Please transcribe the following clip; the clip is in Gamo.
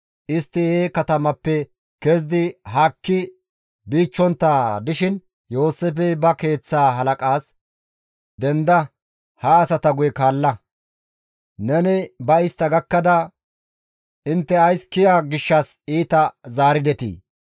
Istti he katamappe kezidi haakki biichchontta dishin Yooseefey ba keeththaa halaqaas, «Denda! Ha asata guye kaalla; neni ba istta gakkada, ‹Intte ays kiya gishshas iita zaaridetii?›